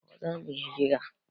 Gobe za mu yi hiran